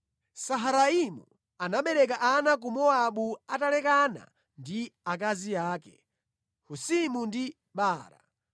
Saharaimu anabereka ana ku Mowabu atalekana ndi akazi ake, Husimu ndi Baara.